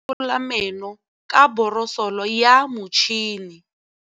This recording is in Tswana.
Bonolô o borosola meno ka borosolo ya motšhine.